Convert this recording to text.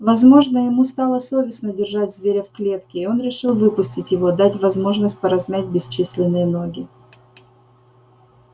возможно ему стало совестно держать зверя в клетке и он решил выпустить его дать возможность поразмять бесчисленные ноги